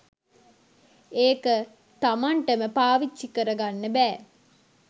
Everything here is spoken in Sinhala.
ඒක තමන්ටම පාවිච්චි කරගන්න බෑ.